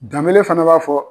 Danbele fana b'a fɔ